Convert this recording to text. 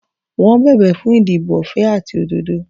Wọ́n bẹ̀bẹ̀ fún ìdìbò ọ̀fẹ́ àti òdodo.